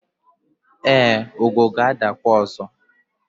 e, ugo ga-adakwa ọzọ